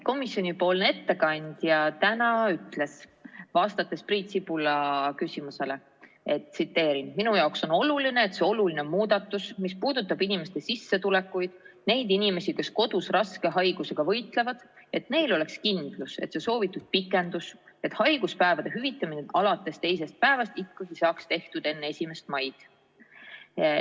Komisjoni ettekandja ütles täna vastates Priit Sibula küsimusele, et tema jaoks on oluline, et see oluline muudatus, mis puudutab inimeste sissetulekuid, nende inimeste sissetulekuid, kes kodus raske haigusega võitlevad, ja neil oleks kindlus, et see soovitud pikendus hüvitada haiguspäevad alates teisest päevast saaks ikkagi tehtud enne 1. maid.